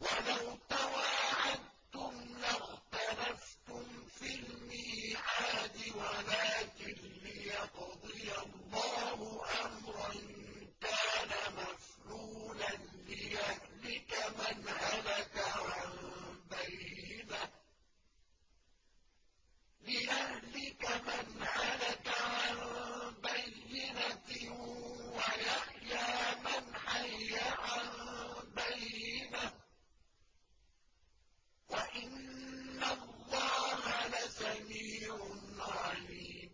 وَلَوْ تَوَاعَدتُّمْ لَاخْتَلَفْتُمْ فِي الْمِيعَادِ ۙ وَلَٰكِن لِّيَقْضِيَ اللَّهُ أَمْرًا كَانَ مَفْعُولًا لِّيَهْلِكَ مَنْ هَلَكَ عَن بَيِّنَةٍ وَيَحْيَىٰ مَنْ حَيَّ عَن بَيِّنَةٍ ۗ وَإِنَّ اللَّهَ لَسَمِيعٌ عَلِيمٌ